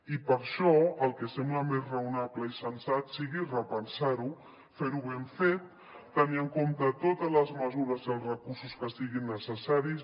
i per això el que sembla més raonable i sensat sigui repensar ho fer ho ben fet tenir en compte totes les mesures i els recursos que siguin necessaris